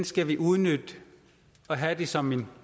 skal vi udnytte og have som